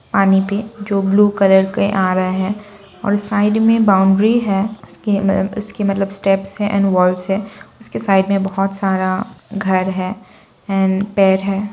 पानी पी जो ब्लू कलर के आ रहा है और साइड में बाउंड्री है उसके मतलब उसके स्टेप्स है एंड वॉल्स है उसके साइड में बहुत सारा घर है एंड पेड़ है।